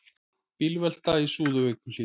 Bílvelta í Súðavíkurhlíð